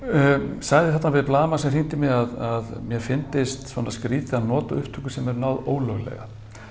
sagði þarna við blaðamann sem hringdi í mig að mér fyndist skrítið að nota upptökur sem er náð ólöglega